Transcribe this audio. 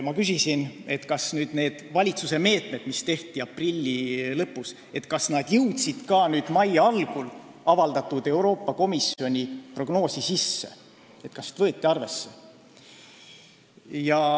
Ma küsisin, kas need valitsuse meetmed, mis tehti aprilli lõpus, jõudsid ka mai algul avaldatud Euroopa Komisjoni prognoosi, kas neid võeti arvesse.